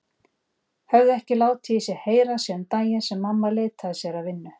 Höfðu ekki látið í sér heyra síðan daginn sem mamma leitaði sér að vinnu.